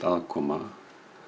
aðkoma